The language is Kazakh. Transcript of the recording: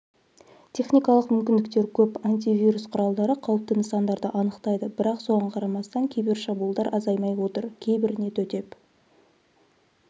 техникалық мүмкіндіктер көп антивирус құралдары қауіпті нысандарды анықтайды бірақ соған қарамастан кибершабуылдар азаймай отыр кейбіріне төтеп